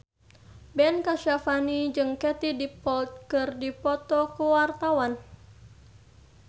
Ben Kasyafani jeung Katie Dippold keur dipoto ku wartawan